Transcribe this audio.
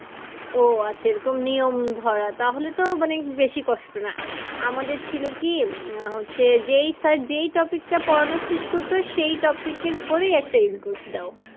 ও আচ্ছা এরকম নিয়ম ধরা তাহলে তো মানে বেশি কষ্ট না। আমাদের ছিল কি আহ হচ্ছে যেই sir যেই topic টা পড়ানো শেষ করতো সেই topic এর পরেই একটা in course দাও।